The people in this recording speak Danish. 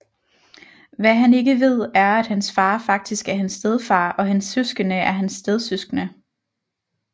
Hvad han ikke ved er at hans far faktisk er hans stedfar og hans søskende er hans stedsøskende